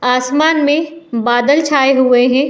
आसमान में बादल छाए हुए हैं।